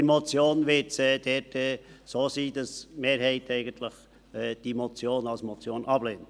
Bei der Motion wird es so sein, dass die Mehrheit die Motion eigentlich als Motion ablehnt.